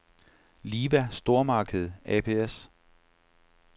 Liva Stormarked ApS